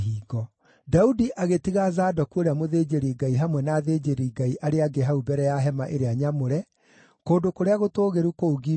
Daudi agĩtiga Zadoku ũrĩa mũthĩnjĩri-Ngai hamwe na athĩnjĩri-Ngai arĩa angĩ hau mbere ya hema ĩrĩa nyamũre, kũndũ kũrĩa gũtũũgĩru kũu Gibeoni,